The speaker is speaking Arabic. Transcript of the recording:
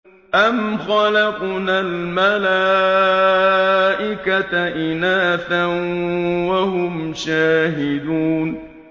أَمْ خَلَقْنَا الْمَلَائِكَةَ إِنَاثًا وَهُمْ شَاهِدُونَ